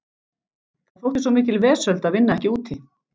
Það þótti svo mikil vesöld að vinna ekki úti.